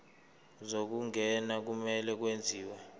zokungena kumele kwenziwe